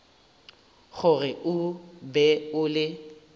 gore o be o le